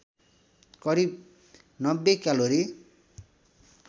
करिब ९० क्यालोरी